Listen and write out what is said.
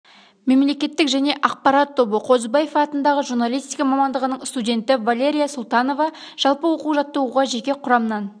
мемлекеттік және ақпарат тобы қозыбаев атындағы журналистика мамандығының студенті валерия султанова жалпы оқу-жаттығуға жеке құрамнан